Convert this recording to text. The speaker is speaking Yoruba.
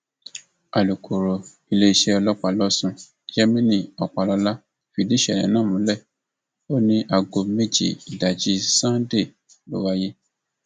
alūkkóró iléeṣẹ ọlọpàá lọsùn yemini ọpàlọlá fìdí ìṣẹlẹ náà múlẹ ó ní aago méje ìdájí sannde ló wáyé